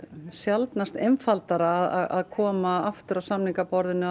sjaldnast einfaldara að koma aftur að samningaborðinu